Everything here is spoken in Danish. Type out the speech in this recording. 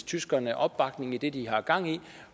tyskerne opbakning i det de har gang i